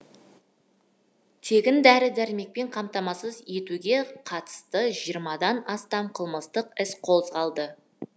тегін дәрі дәрмекпен қамтамасыз етуге қатысты жиырмадан астам қылмыстық іс қозғалды